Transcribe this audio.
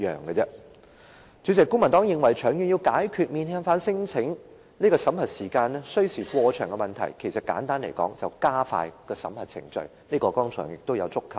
主席，簡單來說，公民黨認為要長遠解決免遣返聲請審核程序需時過長的問題，便是加快審核程序，這問題剛才也有觸及。